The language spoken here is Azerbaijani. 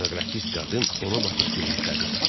İstenoqrafist qadın ona baxıb gülümsədi.